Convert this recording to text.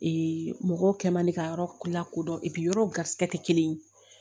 mɔgɔw kɛ man di ka yɔrɔ lakodɔn yɔrɔw garisigɛ tɛ kelen ye